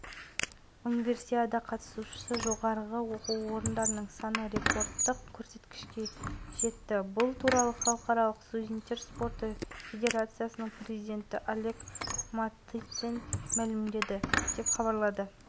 құрлықтық хоккей лигасының ресми сайтында жылғы жұлдыздар матчы қай қалада өтуі керек деген сауалға дауыс беру